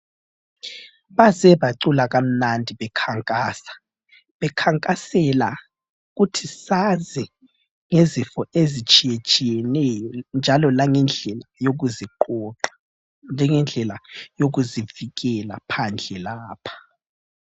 Baze bacula kamnandi bekhankasa, bekhankasela ukuthi sazi ngezifo ezitshiyetshiyeneyo njalo langendlela yokuziqoqa, njengendlela yokuzivikela phandle lapha.